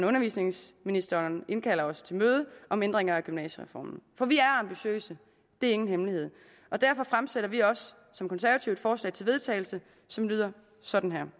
undervisningsministeren indkalder os til møde om ændringer af gymnasiereformen for vi er ambitiøse det er ingen hemmelighed og derfor fremsætter vi også som konservative et forslag til vedtagelse som lyder sådan her